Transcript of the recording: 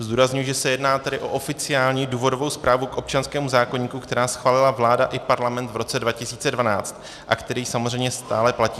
Zdůrazňuji, že se jedná tedy o oficiální důvodovou zprávu k občanskému zákoníku, který schválila vláda i Parlament v roce 2012 a který samozřejmě stále platí.